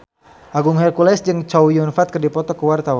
Agung Hercules jeung Chow Yun Fat keur dipoto ku wartawan